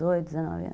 dezoito, dezenove anos